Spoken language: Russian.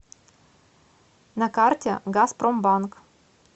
на карте газпромбанк